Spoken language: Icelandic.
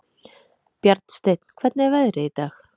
Bjarnsteinn, hvernig er veðrið í dag?